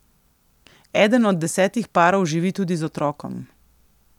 Eden od desetih parov živi tudi z otrokom.